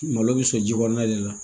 Malo bɛ sɔn ji kɔnɔna de la